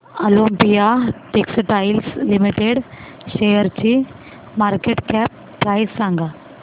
Olympia textiles limited शेअरची market cap price सांगा